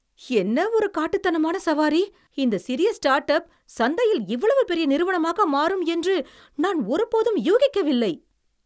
என்ன ஒரு காட்டுத்தனமான சவாரி! இந்த சிறிய ஸ்டார்ட்அப் சந்தையில் இவ்வளவு பெரிய நிறுவனமாக மாறும் என்று நான் ஒருபோதும் யூகிக்கவில்லை.